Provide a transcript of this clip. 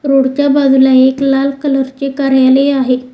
Road च्या बाजूला एक लाल कलर चे कार्यालय आहे.